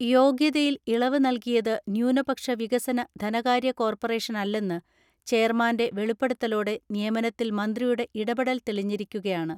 യോഗ്യതയിൽ ഇളവ് നൽകിയത് ന്യൂനപക്ഷ വികസന ധന കാര്യ കോർപ്പറേഷനല്ലെന്ന് ചെയർമാന്റെ വെളിപ്പെടുത്തലോടെ നിയമനത്തിൽ മന്ത്രിയുടെ ഇടപെടൽ തെളിഞ്ഞിരിക്കുകയാണ്.